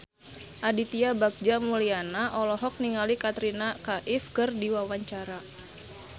Aditya Bagja Mulyana olohok ningali Katrina Kaif keur diwawancara